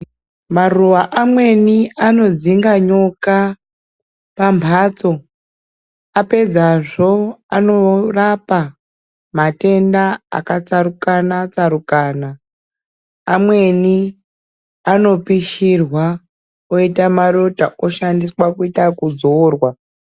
Maruwa amweni anodzinga nyoka pambatso, apedzazvo, anorapa matenda akatsarukana-tsarukana. Amweni anopishirwa oyite marota ,oshandiswa kuyita okudzorwa.